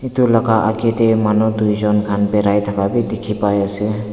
Etu lakha akka de manu tuijun khan bari taka bei dekhe bai ase.